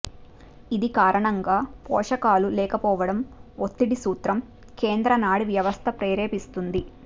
ఇది కారణంగా పోషకాలు లేకపోవడం ఒత్తిడి సూత్రం కేంద్ర నాడీ వ్యవస్థ ప్రేరేపిస్తుంది